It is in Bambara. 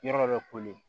Yɔrɔ dɔ bɛ koli